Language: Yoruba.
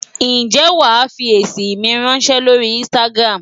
Ǹjẹ́ wàá fi èsì mi ráńṣẹ́ lórí Instagram?